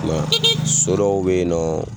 so dɔw bɛ ye nɔ